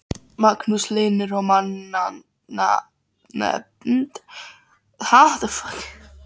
Magnús Hlynur: Og mannanafnanefnd, þið eruð ekki hrifin af henni?